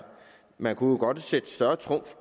man kunne godt sætte større trumf